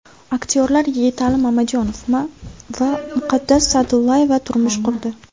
Aktyorlar Yigitali Mamajonov va Muqaddas Sa’dullayeva turmush qurdi .